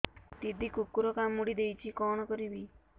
ଦିଦି କୁକୁର କାମୁଡି ଦେଇଛି କଣ କରିବି